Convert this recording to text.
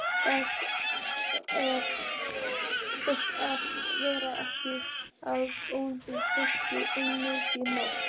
Best að vera ekki að ónáða fólk um miðja nótt.